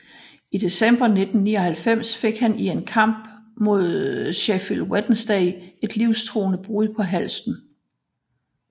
I december 1999 fik han i en kamp mod Sheffield Wednesday et livstruende brud på halsen